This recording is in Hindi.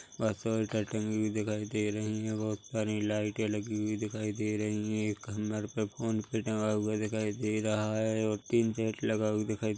कटिंग भी दिखाई दे रही है बहुत सारी लाइटें लगी हुई दिखाई दे रही है एक फोन पे भी टंगा हुआ दिखाई दे रहा है और तीन सेट लगा हुआ दिखाई--